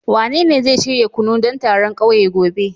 Wanene zai shirya kunu don taron kauye gobe